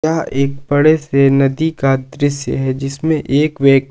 एक बड़े से नदी का दृश्य है जिसमें एक व्य--